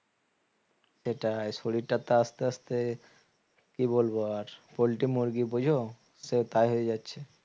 সেটাই শরীরটাতো আস্তে আস্তে কি বলবো আর পল্টি মুরগি বোঝো সে তাই হয়ে যাচ্ছে